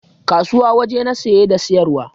Kasuwa waje na saye da siyarwa